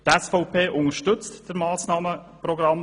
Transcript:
Grundsätzlich unterstützt die SVP das Massnahmenprogramm.